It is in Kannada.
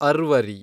ಅರ್ವರಿ